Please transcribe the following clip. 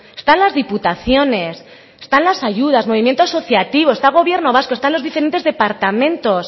están las diputaciones están las ayudas movimientos asociativo está gobierno vasco están los diferentes departamentos